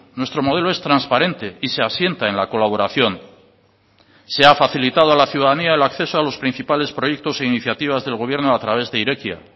nuestro modelo es transparente y se asienta en la colaboración se ha facilitado a la ciudadanía el acceso a los principales proyectos e iniciativas del gobierno a través de irekia